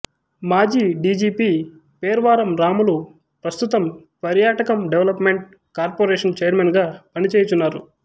మాజీ డిజిపి పేర్వారం రాములు ప్రస్తుతం పర్యాటకం డెవలప్ మెంట్ కార్పొరేషన్ చైర్మన్ గా పనిచేయుచున్నారు